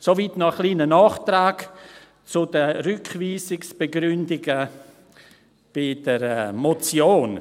Soweit noch ein kleiner Nachtrag zu den Rückweisungsbegründungen bei der Motion.